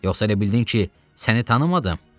Yoxsa elə bildin ki, səni tanımadım?